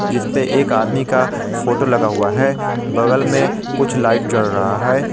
जिसपे एक आदमी का फोटो लगा हुआ है बगल में कुछ लाइट जल रहा है।